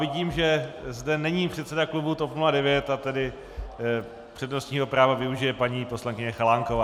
Vidím, že zde není předseda klubu TOP 09, a tedy přednostního práva využije paní poslankyně Chalánková.